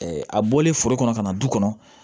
a bɔlen foro kɔnɔ ka na du kɔnɔ